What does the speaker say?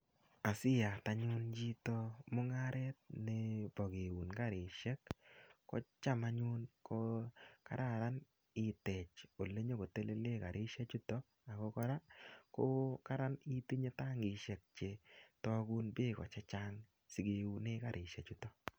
Asiyat anyun chito mungaret nebo keun karisiek kocham anyun ko kararan itech olenyokotelele karisie chuto ago kora ko kararan itinye tangisiek chetagun beek che chang sike une karisiechuto.